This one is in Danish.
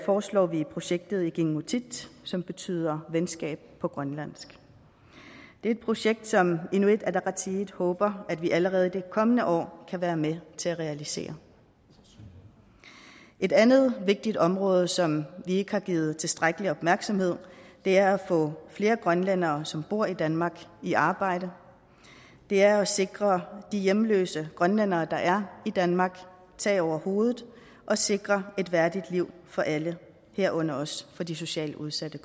foreslår vi i projektet ikinngutit som betyder venskaber på grønlandsk det er et projekt som inuit ataqatigiit håber at vi allerede i de kommende år kan være med til at realisere et andet vigtigt område som ikke har givet tilstrækkelig opmærksomhed er at få flere grønlændere som bor i danmark i arbejde og det er at sikre de hjemløse grønlændere der er i danmark tag over hovedet og sikre et værdigt liv for alle herunder også for de socialt udsatte